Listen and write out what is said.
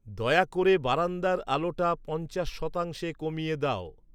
দয়া করে বারান্দার আলোটা পঞ্চাশ শতাংশে কমিয়ে দাও